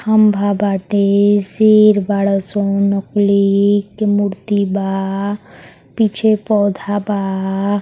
खंभा बाटे। शेर बाड़ो सो। नकली के मूर्ति बा। पीछे पौधा बा।